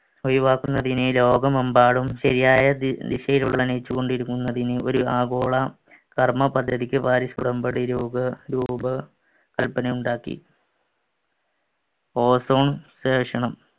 ഒഴിവാക്കുന്ന ദിനം ലോകമെമ്പാടും ശരിയായ ദിശയിൽ കൊണ്ടിരിക്കുന്നതിന് ഒരു ആഗോള കർമ്മപദ്ധതിക്ക് പാരിസ് ഉടമ്പടി രൂപ കൽപ്പന ഉണ്ടാക്കി ozone station നും